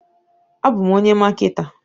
Abu m onye maketa.